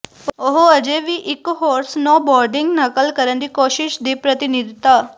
ਉਹ ਅਜੇ ਵੀ ਇਕ ਹੋਰ ਸਨੋਬੋਰਡਿੰਗ ਨਕਲ ਕਰਨ ਦੀ ਕੋਸ਼ਿਸ਼ ਦੀ ਪ੍ਰਤੀਨਿਧਤਾ